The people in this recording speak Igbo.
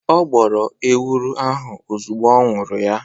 Ọ gbọrọ ewuro ahu ozugbọ ọ ñuru ya